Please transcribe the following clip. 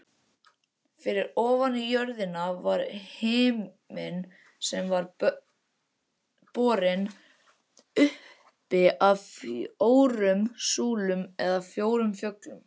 Fyrir ofan jörðina var himinn sem var borinn uppi af fjórum súlum eða fjórum fjöllum.